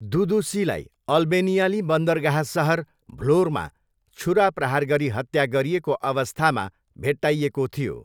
दुदुसीलाई अल्बेनियाली बन्दरगाह सहर भ्लोरमा छुरा प्रहार गरी हत्या गरिएको अवस्थामा भेट्टाइएको थियो।